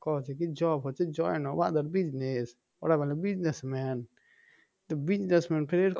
কওছে কি job হচ্ছে join of other business ওরা বলে business man তো business man ফের এর